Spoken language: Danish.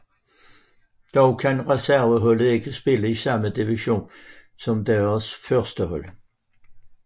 Dog kan reserveholdet ikke spille i samme division som deres førstehold